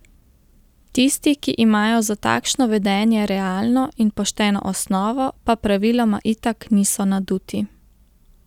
Tisti, ki imajo za takšno vedenje realno in pošteno osnovo, pa praviloma itak niso naduti.